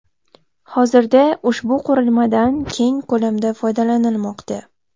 Hozirda ushbu qurilmadan keng ko‘lamda foydalanilmoqda.